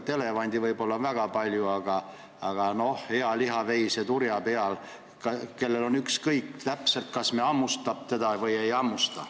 See on võib-olla väga palju öeldud, aga me oleme kui sääsk hea lihaveise turja peal, kellel on ükskõik, kas me hammustame teda või ei.